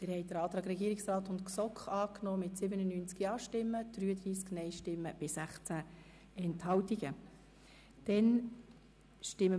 Sie haben den Antrag des Regierungsrats und der GSoK-Mehrheit mit 97 Ja- gegen 33 Nein-Stimmen bei 16 Enthaltungen angenommen.